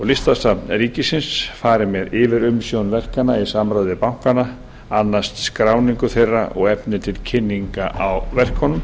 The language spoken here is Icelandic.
listasafn ríkisins fari með yfirumsjón verkanna í samráði við bankana anna st skráningu þeirra og efni til kynningar á verkunum